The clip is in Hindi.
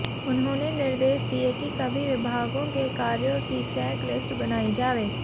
उन्होंने निर्देश दिए कि सभी विभागों के कार्यो की चैक लिस्ट बनाई जावे